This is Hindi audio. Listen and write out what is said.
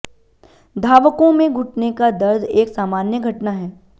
धावकों में घुटने का दर्द एक सामान्य घटना है